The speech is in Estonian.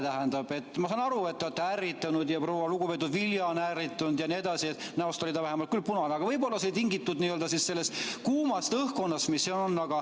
Tähendab, ma saan aru, et te olete ärritunud ja lugupeetud proua Vilja on ärritunud jne, näost oli ta vähemalt küll punane, aga võib-olla oli see tingitud sellest kuumast õhkkonnast, mis siin on.